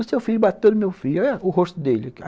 O seu filho bateu no meu filho, olha o rosto dele.